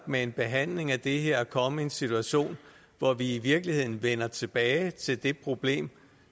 med en behandling af det her at komme i en situation hvor vi i virkeligheden vender tilbage til det problem